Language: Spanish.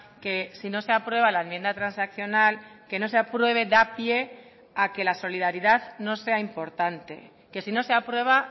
que si no se aprueba la enmienda transaccional que no se apruebe da pie a que la solidaridad no sea importante que si no se aprueba